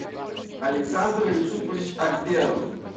александр юсупович акберов